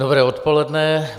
Dobré odpoledne.